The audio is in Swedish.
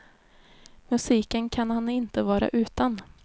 Musiken kan han inte vara utan.